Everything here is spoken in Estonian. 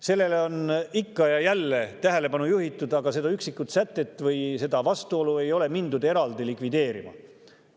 Sellele on ikka ja jälle tähelepanu juhitud, aga seda üksikut sätet või seda vastuolu ei ole mindud eraldi likvideerima.